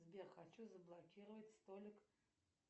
сбер хочу заблокировать столик